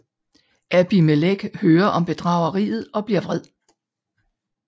Abimelek hører om bedrageriet og bliver vred